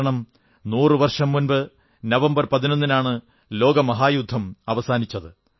കാരണം നൂറു വർഷം മുമ്പ് നവംബർ 11 ന് ആണ് ലോകമഹായുദ്ധം അവസാനിച്ചത്